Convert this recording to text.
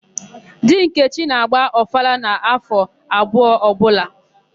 Di Nkechi na-agba ọfala n'áfọ̀ abụọ ọbụla.